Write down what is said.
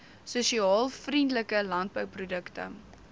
sosiaal vriendelike landbouprodukte